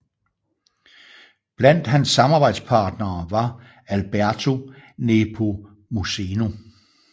Blandt hans samarbejdspartnere var Alberto Nepomuceno